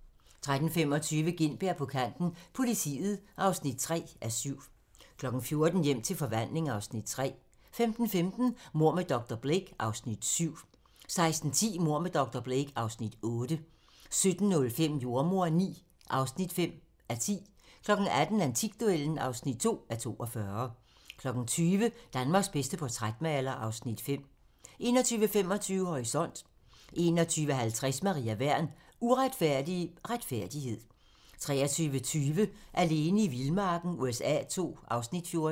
13:25: Gintberg på kanten – Politiet (3:7) 14:00: Hjem til forvandling (Afs. 3) 15:15: Mord med dr. Blake (Afs. 7) 16:10: Mord med dr. Blake (Afs. 8) 17:05: Jordemoderen IX (5:10) 18:00: Antikduellen (2:42) 20:00: Danmarks bedste portrætmaler (Afs. 5) 21:25: Horisont (tir) 21:50: Maria Wern: Uretfærdig retfærdighed 23:20: Alene i vildmarken USA II (Afs. 14)